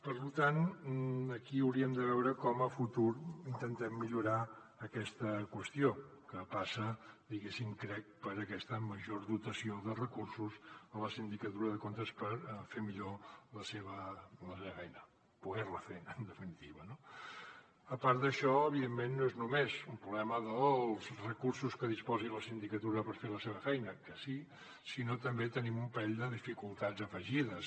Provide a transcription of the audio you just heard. per tant aquí hauríem de veure com a futur intentem millorar aquesta qüestió que passa crec per aquesta major dotació de recursos a la sindicatura de comptes per fer millor la seva feina poder la fer en definitiva no a part d’això evidentment no és només un problema dels recursos de què disposi la sindicatura per fer la seva feina que sí sinó que també tenim un parell de dificultats afegides